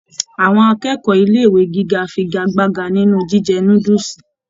Àwọn akẹ́kọ̀ọ́ ilé ìwé gíga fígagbágà nínú jíjẹ núdúsí.